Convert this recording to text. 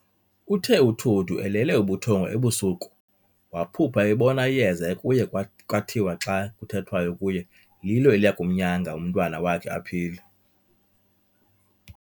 Uthe uTodu elele ubuthongo ebusuku, waphupha ebona iyeza ekuye kwathiwa xa kuthethwayo kuye, lilo eliyakumnyanga umntwana wakhe aphile.